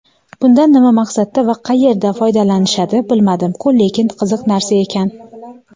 Bundan nima maqsadda va qayerda foydalanishadi bilmadim-ku lekin qiziq narsa ekan.